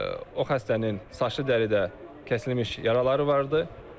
O xəstənin saçı dəridə kəsilmiş yaraları var idi.